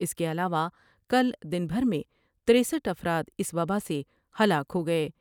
اس کے علاوہ کل دن بھر میں ترسٹھ افراداس وباء سے ہلاک ہو گئے ۔